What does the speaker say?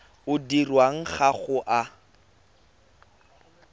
o dirwang ga o a